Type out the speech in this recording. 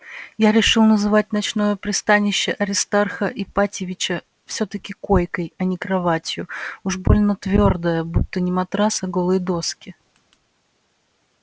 я решил называть ночное пристанище аристарха ипатьевича всё-таки койкой а не кроватью уж больно твёрдая будто не матрас а голые доски